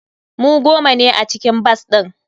Mu goma ne a cikin bas din.